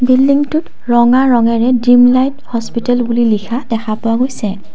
বিল্ডিংটোত ৰঙা ৰঙেৰে ড্ৰিমলাইট হস্পিতেল বুলি লিখা দেখা পোৱা গৈছে।